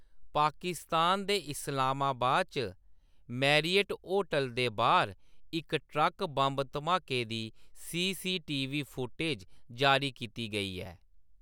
पाकिस्तान दे इस्लामाबाद च Marriott hotel दे बाह्‌‌र इक ट्रक बंब धमाके दी सीसीटीवी फुटेज जारी कीती गेई ऐ।